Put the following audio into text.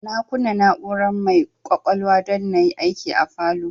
Na kunna na'ura mai kwakwalwa don na yi aiki a falow